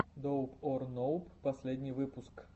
доуп ор ноуп последний выпуск